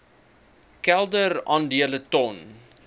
kelder aandele ton